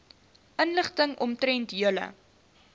inligting omtrent julle